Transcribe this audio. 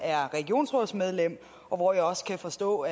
er regionsrådsmedlem og hvor jeg også kan forstå